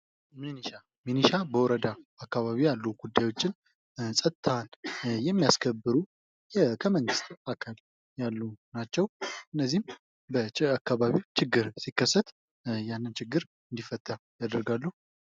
ሚኒሻ፦ ሚኒሻ በወረዳ አካባቢ ያሉ ጉዳዮችን ፀጥታ የሚያስከብሩ የመንግስት አካል ናቸው። እነዚህም በጨ አካባቢ ችግር ሲከሰት ያንን ችግር እንዲፈታ ያደርጋሉ።